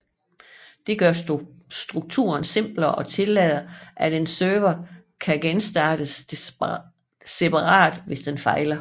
Dette gør strukturen simplere og tillader at en server kan genstartes separat hvis den fejler